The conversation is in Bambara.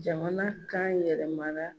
Jamana kan yɛlɛmana